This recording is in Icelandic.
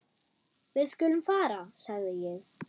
Við skulum fara sagði ég.